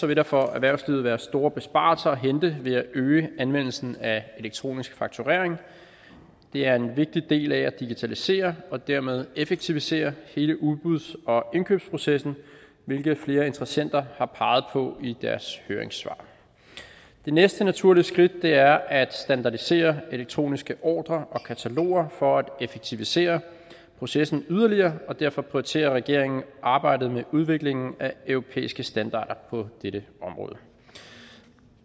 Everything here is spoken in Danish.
vil der for erhvervslivet være store besparelser at hente ved at øge anvendelsen af elektronisk fakturering det er en vigtig del af at digitalisere og dermed effektivisere hele udbuds og indkøbsprocessen hvilket flere interessenter har peget på i deres høringssvar det næste naturlige skridt er at standardisere elektroniske ordrer og kataloger for at effektivisere processen yderligere og derfor prioriterer regeringen arbejdet med udviklingen af europæiske standarder på dette område